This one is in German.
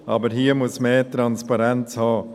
Aber hier muss mehr Transparenz kommen.